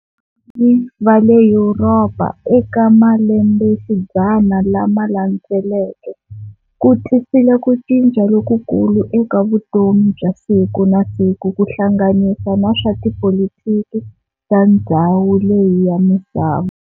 Vale Yuropa eka malembexidzana lama landzeleke, kutisile kucinca loku kulu eka vutomi bya siku na siku kuhlanganisa na swa tipolitiki ta ndzhawu leyi ya misava.